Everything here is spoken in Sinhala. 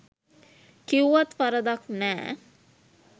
කිව්වත් වරදක් නෑ